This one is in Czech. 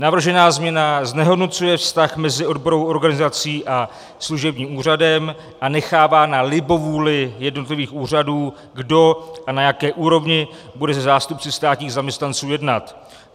Navržená změna znehodnocuje vztah mezi odborovou organizací a služebním úřadem a nechává na libovůli jednotlivých úřadů, kdo a na jaké úrovni bude se zástupci státních zaměstnanců jednat.